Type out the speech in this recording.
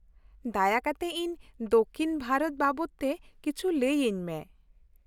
ᱫᱟᱭᱟ ᱠᱟᱛᱮ ᱤᱧ ᱫᱚᱠᱽᱠᱷᱤᱱ ᱵᱷᱟᱨᱚᱛ ᱵᱟᱵᱚᱛ ᱛᱮ ᱠᱤᱪᱷᱩ ᱞᱟᱹᱭ ᱟᱹᱧᱢᱮ ᱾